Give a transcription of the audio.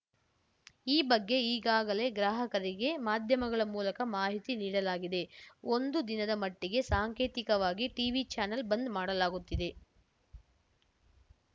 ಈ ಬಗ್ಗೆ ಈಗಾಗಲೇ ಗ್ರಾಹಕರಿಗೆ ಮಾಧ್ಯಮಗಳ ಮೂಲಕ ಮಾಹಿತಿ ನೀಡಲಾಗಿದೆ ಒಂದು ದಿನದ ಮಟ್ಟಿಗೆ ಸಾಂಕೇತಿಕವಾಗಿ ಟೀವಿ ಚಾನಲ್‌ ಬಂದ್‌ ಮಾಡಲಾಗುತ್ತಿದೆ